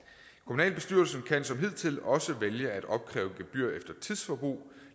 kommunalbestyrelsen kan som hidtil også vælge at opkræve gebyr efter tidsforbrug